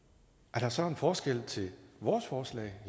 er der så en forskel til vores forslag